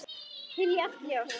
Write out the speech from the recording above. Hylja allt ljós.